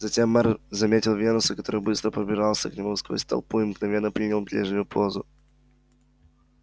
затем мэр заметил венуса который быстро пробирался к нему сквозь толпу и мгновенно принял прежнюю позу